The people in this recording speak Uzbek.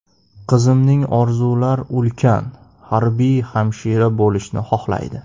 Qizimning orzular ulkan, harbiy hamshira bo‘lishni xohlaydi.